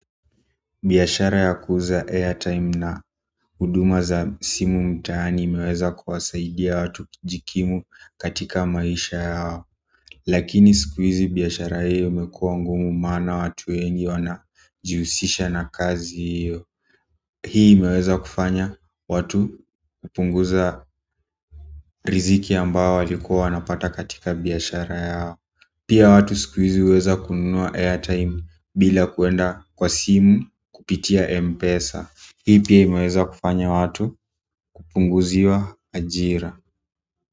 Biashara ya kuuza airtime na huduma za simu mtaani imeweza kuwasaidia watu kijikimu katika maisha yao lakini siku hizi biashara hiyo imekuwa ngumu maana watu wengi wanajihusisha na kazi hiyo hii imeweza kufanya watu kupunguza riziki ambayo walikuwa wanapata katika biashara yao pia watu siku hizi huweza kununua airtime bila kuenda kwa simu kupitia Mpesa. Hii pia imeweza kufanya watu kupunguziwa ajira.